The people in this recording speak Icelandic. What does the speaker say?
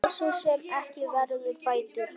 Missir sem ekki verður bættur.